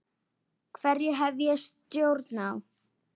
Hverju hef ég stjórn á?